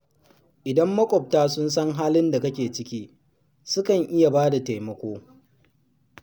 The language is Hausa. Idan maƙwabta sun san halin da kake ciki, sukan iya ba da taimako.